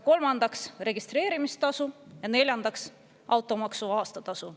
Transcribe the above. Kolmandaks on registreerimistasu ja neljandaks automaksu aastatasu.